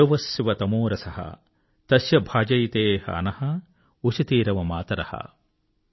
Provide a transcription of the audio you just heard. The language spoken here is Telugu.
యో వః శివతమో రసః తస్య భాజయతేహ నః ఉషతీరివ మాతరః